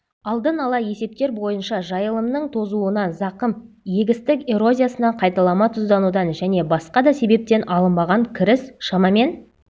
алдын ала есептер бойынша жайылымның тозуынан зақым егістік эрозиясынан қайталама тұзданудан және басқа да себептен алынбаған кіріс шамамен